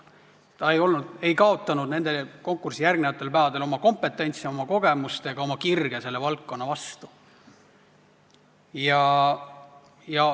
Ta ei olnud konkursile järgnevatel päevadel kaotanud oma kompetentsi, kogemust ega kirge selle valdkonna vastu.